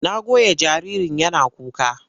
Na goya jaririn yana kuka.